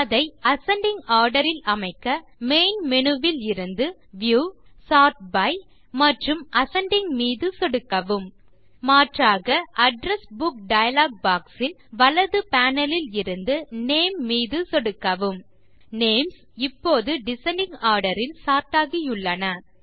அதை ascending order இல் அமைக்க மெயின் Menuஇலிருந்து வியூ சோர்ட் பை மற்றும் அசெண்டிங் மீது சொடுக்கவும் மாற்றாக அட்ரெஸ் புக் டயலாக் பாக்ஸ் இல் வலது பேனல் இலிருந்து நேம் மீது சொடுக்கவும் நேம்ஸ் இப்போது டிசெண்டிங் ஆர்டர் இல் சார்ட் ஆகியுள்ளன